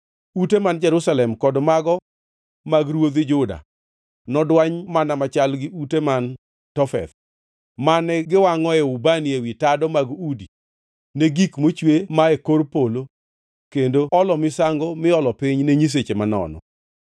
Ute man Jerusalem kod mago mag ruodhi Juda nodwany mana machal gi ute man Tofeth, mane giwangʼoe ubani ewi tado mag udi ne gik mochwe mae kor polo kendo olo misango miolo piny ne nyiseche manono.’ ”